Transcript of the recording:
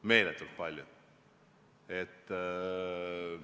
Meeletult palju.